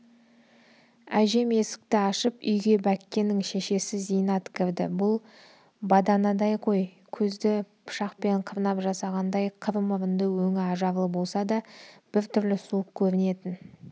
әжем есікті ашып үйге бәккенің шешесі зейнат кірді бұл баданадай қой көзді пышақпен қырнап жасағандай қыр мұрынды өңі ажарлы болса да бір түрлі суық көрінетін